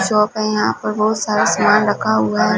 Shop है यहां पर बहुत सारे सामान रखा हुआ है।